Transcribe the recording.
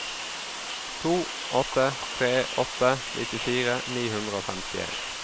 to åtte tre åtte nittifire ni hundre og femtien